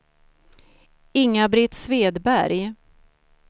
Inga-Britt Svedberg